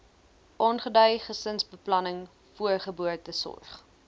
aangedui gesinsbeplanning voorgeboortesorg